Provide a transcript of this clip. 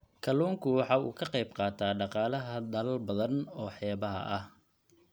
Kalluunku waxa uu qayb ka qaataa dhaqaalaha dalal badan oo xeebaha ah.